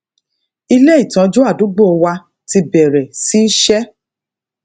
ilé ìtọjú àdúgbò wa ti bẹrẹ sí ṣe